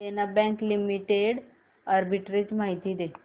देना Bank Limited arbitrage माहिती दे